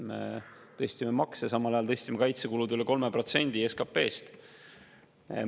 Me tõstsime makse ja samal ajal tõstsime kaitsekulud üle 3% protsendi SKP-st.